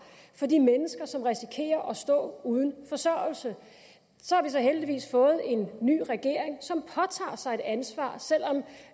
for de mennesker som risikerer at stå uden forsørgelse så har vi heldigvis fået en ny regering som påtager sig et ansvar selv om